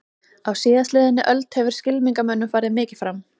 Á síðastliðinni öld hefur skylmingamönnum farið mikið fram.